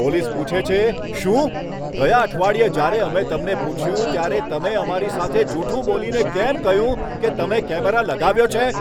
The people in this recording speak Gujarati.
પોલીસ પૂછે છે, શું? ગયા અઠવાડિયે જ્યારે અમે તમને પૂછ્યું ત્યારે તમે અમારી સાથે જૂઠું બોલીને કેમ કહ્યું કે તમે કેમેરા લગાવ્યો છે?